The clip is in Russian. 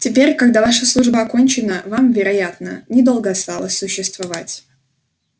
теперь когда ваша служба окончена вам вероятно недолго осталось существовать